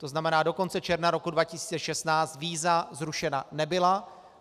To znamená, do konce června roku 2016 víza zrušena nebyla.